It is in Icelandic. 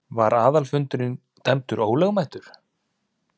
Var aðalfundurinn dæmdur ólögmætur.